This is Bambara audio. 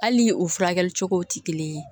Hali ni o furakɛli cogow tɛ kelen ye